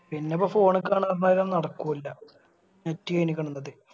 പിന്നിപ്പോം Phone കാണലെന്തായാലും നടക്കൂല Net കഴിഞ്ഞിക്കുണു ഇന്നത്തെ